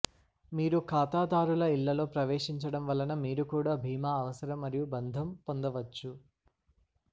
మీరు ఖాతాదారుల ఇళ్లలో ప్రవేశించడం వలన మీరు కూడా భీమా అవసరం మరియు బంధం పొందవచ్చు